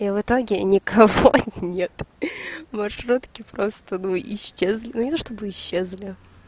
и в итоге никого нет маршрутки просто ну исчезли ну не то чтобы исчезли